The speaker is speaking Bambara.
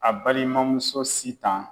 A balimamuso SITAN.